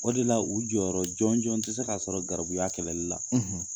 O de la u jɔyɔrɔ jɔnjɔn tɛ se ka sɔrɔ garibuya kɛlɛli la.